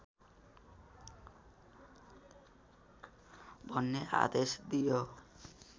भन्ने आदेश दियो